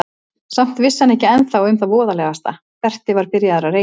Samt vissi hann ekki ennþá um það voðalegasta: Berti var byrjaður að reykja.